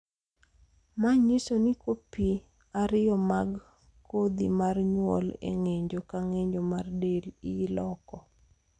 ma nyiso ni kopi ariyo mag kodhi mar nyuol e ng'injo ka ng'injo mar del iloko